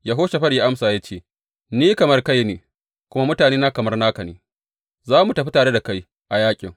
Yehoshafat ya amsa ya ce, Ni kamar kai ne, kuma mutanena kamar naka ne; za mu tafi tare da kai a yaƙin.